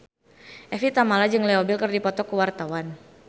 Evie Tamala jeung Leo Bill keur dipoto ku wartawan